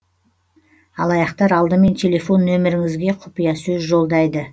алаяқтар алдымен телефон нөміріңізге құпиясөз жолдайды